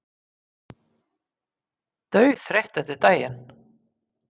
Dauðþreytt eftir daginn.